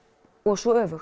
svo öfugt